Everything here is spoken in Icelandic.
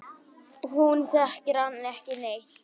Hún þekkir hann ekki neitt.